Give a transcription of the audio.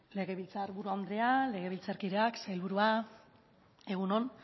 legebiltzar buru andrea legebiltzarkideak sailburua egun on